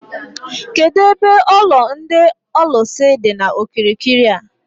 Kedụ ebe ụlọ ndị ọlụsị dị n'okirikiri a?